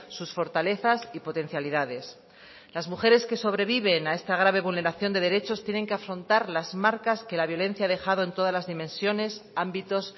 sus fortalezas y potencialidades las mujeres que sobreviven a esta grave vulneración de derechos tienen que afrontar las marcas que la violencia ha dejado en todas las dimensiones ámbitos